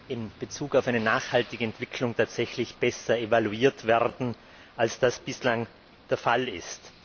in Bezug auf eine nachhaltige Entwicklung tatsächlich besser evaluiert werden, als das bislang der Fall ist.